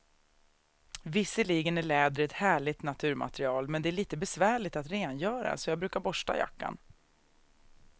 Visserligen är läder ett härligt naturmaterial, men det är lite besvärligt att rengöra, så jag brukar borsta jackan.